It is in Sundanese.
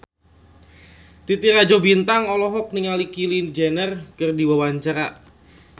Titi Rajo Bintang olohok ningali Kylie Jenner keur diwawancara